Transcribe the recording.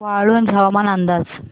वाळूंज हवामान अंदाज